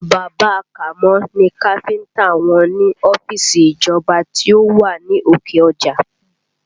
Bàbá a Kàmó ni káfíńtà wọn ní ọ́fíìsì ìjọba tí ó wà ní òkè ọjà